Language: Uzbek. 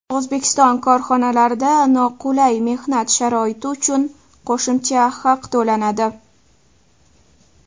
O‘zbekiston korxonalarida noqulay mehnat sharoiti uchun qo‘shimcha haq to‘lanadi.